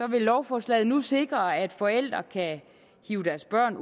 vil lovforslaget nu sikre at forældre kan hive deres børn